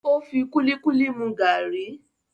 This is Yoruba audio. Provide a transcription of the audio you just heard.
Ó fi kúlíkúlí mu gàárì